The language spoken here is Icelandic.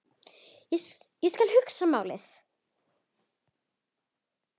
Ég skal athuga málið